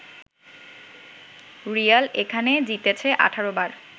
Real এখানে জিতেছে ১৮ বার